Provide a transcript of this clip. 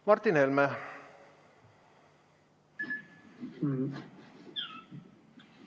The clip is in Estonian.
Martin Helme!